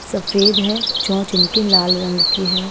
सफेद है चौच इनकी लाल रंग की है।